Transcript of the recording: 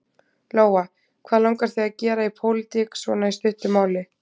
Lóa: Hvað langar þig að gera í pólitík svona í stuttu máli?